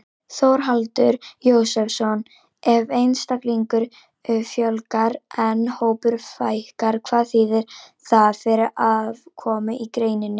Þórhallur Jósefsson: Ef einstaklingum fjölgar en hópum fækkar, hvað þýðir það fyrir afkomu í greininni?